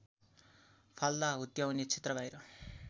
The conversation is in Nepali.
फाल्दा हुत्याउने क्षेत्रबाहिर